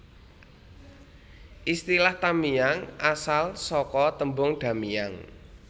Istilah Tamiang asal saka tembung Da Miang